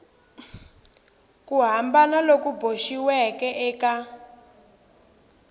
ku hambana loku boxiweke eka